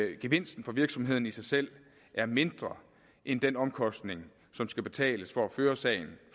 gevinsten for virksomhederne i sig selv er mindre end den omkostning som skal betales for at føre sagen